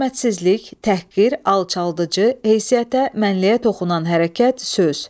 Hörmətsizlik, təhqir, alçaldıcı, heysiyyətə, mənliyə toxunan hərəkət, söz.